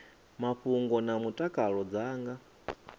mafhungo na mutakalo dza nga